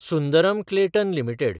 Sundaram Clayton limited